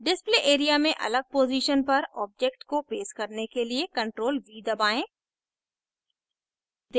display area में अलग position पर object को paste करने के लिए ctrl + v दबाएं